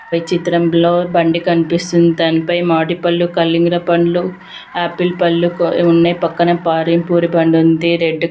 ఈ చిత్రం లో బండి కనిపిస్తూ ఉంది. దాని పైన మామిడి పండ్లు కళిందర పండ్లు ఆపిల్ పండ్లు ఉన్నాయి. పక్కన పాణిపూరీ బండి ఉంది. రెడ్ --